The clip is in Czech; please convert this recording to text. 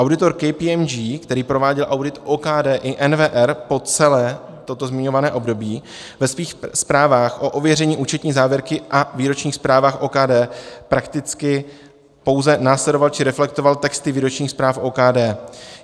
Auditor KPMG, který prováděl audit OKD i NWR po celé toto zmiňované období, ve svých zprávách o ověření účetní závěrky a výročních zprávách OKD prakticky pouze následoval či reflektoval texty výročních zpráv OKD.